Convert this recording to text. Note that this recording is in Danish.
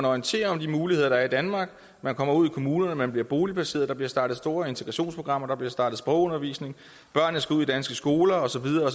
orienterer om de muligheder der i danmark man kommer ud i kommunerne man bliver boligplaceret der bliver startet store integrationsprogrammer der bliver startet sprogundervisning børnene skal ud i danske skoler og så videre